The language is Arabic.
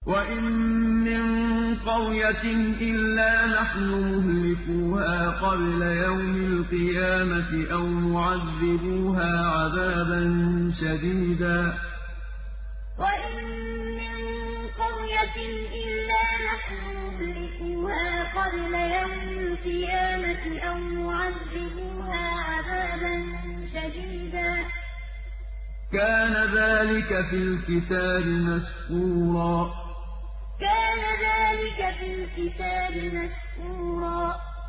وَإِن مِّن قَرْيَةٍ إِلَّا نَحْنُ مُهْلِكُوهَا قَبْلَ يَوْمِ الْقِيَامَةِ أَوْ مُعَذِّبُوهَا عَذَابًا شَدِيدًا ۚ كَانَ ذَٰلِكَ فِي الْكِتَابِ مَسْطُورًا وَإِن مِّن قَرْيَةٍ إِلَّا نَحْنُ مُهْلِكُوهَا قَبْلَ يَوْمِ الْقِيَامَةِ أَوْ مُعَذِّبُوهَا عَذَابًا شَدِيدًا ۚ كَانَ ذَٰلِكَ فِي الْكِتَابِ مَسْطُورًا